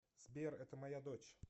сбер это моя дочь